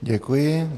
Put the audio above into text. Děkuji.